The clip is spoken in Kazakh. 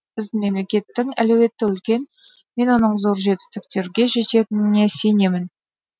біздің мемлекеттің әлеуеті үлкен мен оның зор жетістіктерге жететініне сенемін